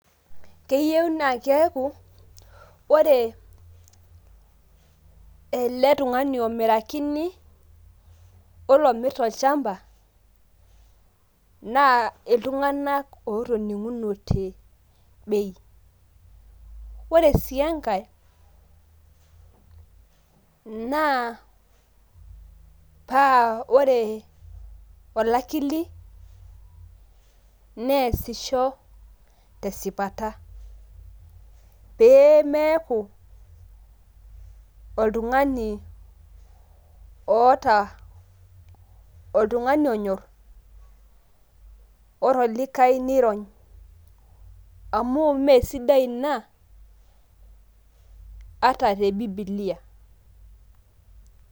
Keyieu na keeku, ore ele tung'ani omirakini ,oilo omirta olchamba, naa iltung'anak otoning'unote bei. Ore si enkae, naa pa ore olakili, neesisho tesipata. Pemeeku oltung'ani oota oltung'ani onyor, ore olikae nirony. Amu mesidai ina, ata te bibilia.